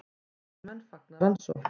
Lögreglumenn fagna rannsókn